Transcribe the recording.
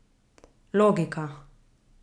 Logika.